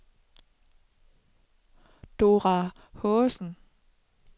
Dora Haagensen